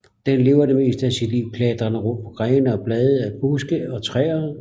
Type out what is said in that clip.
Den lever det meste af sit liv klatrende rundt på grene og blade af buske og træer